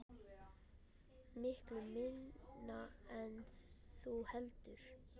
Miklu minna en þú heldur.